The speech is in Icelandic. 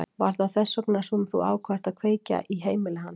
Var það þess vegna sem þú ákvaðst að kveikja í heimili hans?